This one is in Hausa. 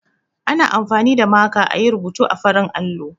Ana amfani da maka a yi rubutu a farin allo.